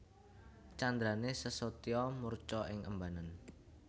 Candrané Sesotya murca ing embanan